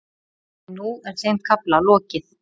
En nú er þeim kafla lokið.